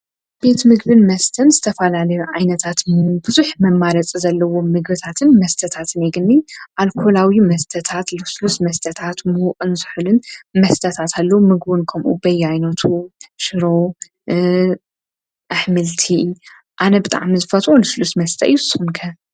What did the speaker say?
ቤቲ ምግብን መስተን ዝተፋላለዩ ኣይነታትን ብዙኅ መማረፅ ዘለዉ ምግብታትን መስተታትን ይግኒ ኣልኮላውዩ መስተታት ልስሉስ መስተታት ምእንስሕልን መስተታት ሉ ምግውንከምኡኡበይ ኣይኖቱ ሽሮ ኣኅምልቲ ኣነ ብጥዓምዝፈት ልስሉስ መስተ እዩ።